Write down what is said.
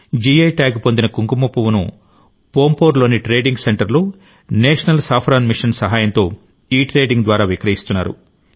I tag పొందిన కుంకుమపువ్వును పాంపోర్లోని ట్రేడింగ్ సెంటర్లో నేషనల్ సాఫ్రాన్ మిషన్ సహాయంతో ఇట్రేడింగ్ ద్వారా విక్రయిస్తున్నారు